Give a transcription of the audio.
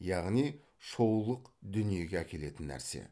яғни шоулық дүниеге әкелетін нәрсе